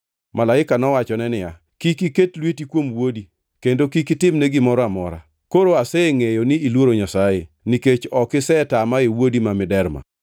Malaika nowachone niya, “Kik iket lweti kuom wuodi, kendo kik itimne gimoro amora. Koro asengʼeyo ni iluoro Nyasaye, nikech ok isetama e wuodi ma miderma.”